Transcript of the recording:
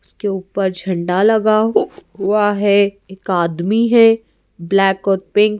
उसके ऊपर झंडा लगा हु हुआ हैं एक आदमी है ब्लैक और पिंक --